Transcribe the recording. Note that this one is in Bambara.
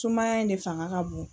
Sumaya in de fanga ka bon.